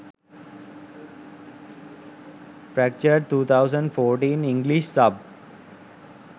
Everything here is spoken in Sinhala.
fractured 2014 english sub